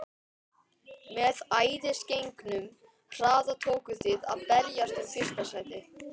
Með æðisgengnum hraða tókuð þið að berjast um fyrsta sætið.